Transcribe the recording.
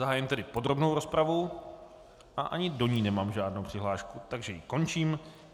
Zahájím tedy podrobnou rozpravu a ani do ní nemám žádnou přihlášku, takže ji končím.